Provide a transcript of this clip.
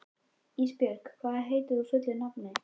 Ísbjörg, hvað heitir þú fullu nafni?